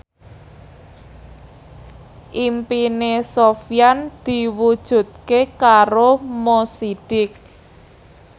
impine Sofyan diwujudke karo Mo Sidik